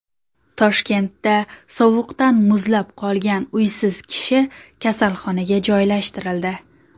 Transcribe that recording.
Toshkentda sovuqdan muzlab qolgan uysiz kishi kasalxonaga joylashtirildi.